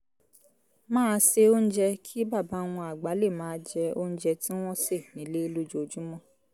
máa se oúnjẹ kí bàbá wọn àgbà lè máa jẹ oúnjẹ tí wọ́n sè nílé lójoojúmọ́